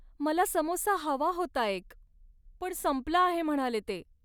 मला समोसा हवा होता एक, पण संपला आहे म्हणाले ते.